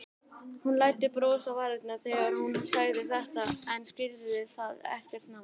Hún læddi brosi fram á varirnar þegar hún sagði þetta en skýrði það ekkert nánar.